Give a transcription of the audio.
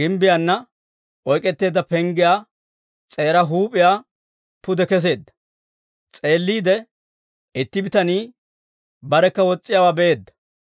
gimbbiyaana oyk'k'eteedda penggiyaa s'eeraa huup'iyaa pude kesseedda; s'eelliide, itti bitanii barekka wos's'iyaawaa be'eedda.